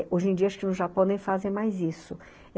Hoje em dia, acho que no Japão nem fazem mais isso.